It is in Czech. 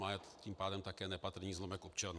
Má je tím pádem také nepatrný zlomek občanů.